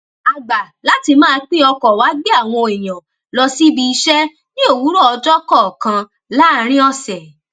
a gbà láti máa pín ọkò wà gbé àwọn èèyàn lọ síbi iṣé ní òwúrò ọjó kòòkan láàárín òsè